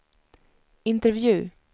intervju